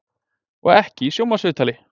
Og ekki í sjónvarpsviðtali!